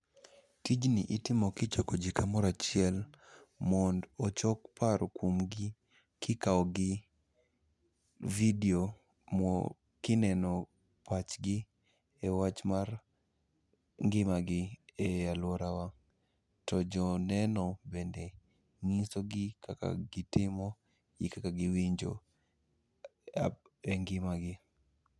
Tijni itimo kichokoji kamorachiel mond ochok paro kuomgi kikawogi vidio kineno pachgi e wach mar ngimagi ei alworawa. To jo neno bende ng'isogi kaka gitimo gi kaka giwinjo e ngimagi.